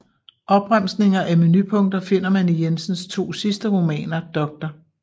Opremsninger af menupunkter finder man i Jensens to sidste romaner Dr